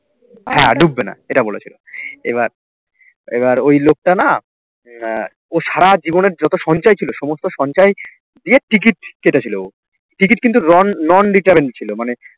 হ্যাঁ ডুববে না এটা বলেছিল, এবার এবার ওই লোকটা না আহ ও সারা জীবনের যত সঞ্চয় ছিল সমস্ত সঞ্চয় দিয়ে ticket কেটেছিল ও ticket কিন্তু non non refund ছিল মানে